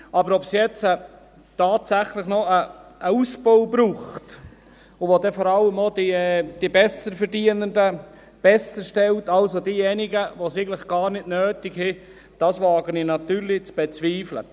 Aber ob es jetzt tatsächlich noch einen Ausbau braucht, der vor allem auch noch die Besserverdienenden besserstellt, also diejenigen, die es eigentlich gar nicht nötig haben, das wage ich natürlich zu bezweifeln.